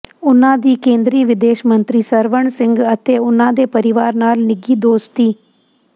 ਉਨ੍ਹਾਂ ਦੀ ਕੇਂਦਰੀ ਵਿਦੇਸ਼ ਮੰਤਰੀ ਸਵਰਨ ਸਿੰਘ ਅਤੇ ਉਨ੍ਹਾਂ ਦੇ ਪਰਿਵਾਰ ਨਾਲ ਨਿੱਘੀ ਦੋਸਤੀ